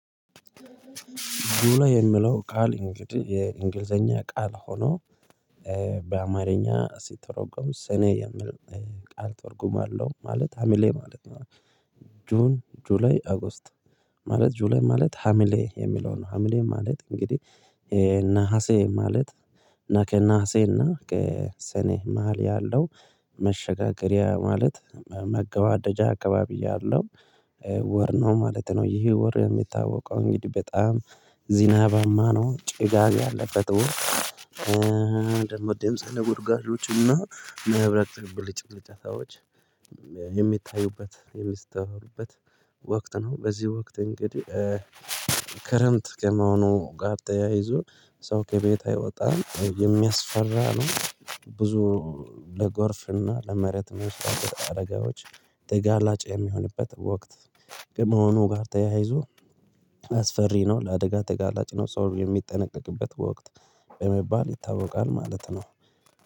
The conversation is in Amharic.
ዱላ የምለው ቃል እንግዲህ የእንግሊዘኛ ቃል ሆኖ በአማርኛ ሲተረጎም ስነ የምል ቃል ትርጉም አለውማለት ሀምሌ ማለት ነው። ጁን ጁላይ ኦጎስት ማለት ጁላይ ማለት ሀሚሌ የሚለው ነው ሀሚሌ ማለት እንግዲህ ነሀሴ ማለት እና ከእና ነሀሴ እና ከሰኔ መሃል ያለው መሸጋገሪያ ማለት መገባደጃ አካባቢ ያለው ወር ነው ማለት ነው። ይህ ወር የሚታወቀው እንግዲህ በጣም ዚናባማ ነው ጭጋግ ያለበት ደግሞ ደምጽ ቡርጋሎችና እና መህብረት ብልጭ ብልጭ አዎች የሚታዩበት የሚስተዋሉበት ነው። በዚህ ወቅት እንግዲህ ክረምት ከመሆኑ ጋር ተያይዞ ሰው ከቤት አይወጣም የሚያስፈራ ነው። ብዙ ለጎርፍና ለመሬት መንሸራተት አደጋዎች ተጋላጭ የሚሆንበት ወቅት ከመሆኑ ጋር ተያይዞ አስፈሪ ነው። ለአደጋ ተጋላጭ ነው ሰው የሚጠነቀቅበት በወቅት በመባል ይታወቃል ማለት ነው።